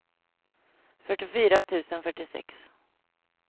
fyrtiofyra tusen fyrtiosex